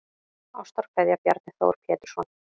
Ástarkveðja Bjarni Þór Pétursson